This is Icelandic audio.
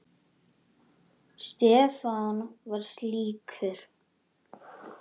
Stefán var slíkur.